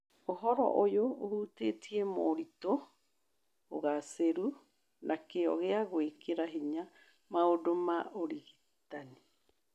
Ũhoro ũyũ ũhutĩtie moritũ, ũgaacĩru, na kĩyo gĩa gwĩkĩra hinya maũndũ ma ũrigitani